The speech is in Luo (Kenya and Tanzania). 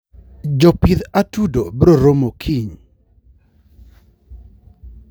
jopidh atudo broromo kiny